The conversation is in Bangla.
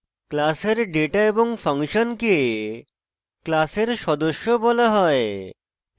class এর ডেটা এবং ফাংশনকে class সদস্য বলা হয়